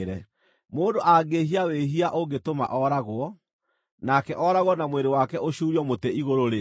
Mũndũ angĩĩhia wĩhia ũngĩtũma ooragwo, nake ooragwo na mwĩrĩ wake ũcuurio mũtĩ igũrũ-rĩ,